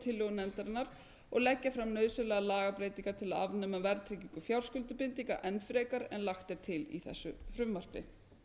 tillögum nefndarinnar og leggja fram nauðsynlegar lagabreytingar til að afnema verðtryggingu fjárskuldbindinga enn frekar en lagt er til í þessu frumvarpi